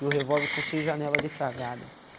E o revólver com seis janela defragada.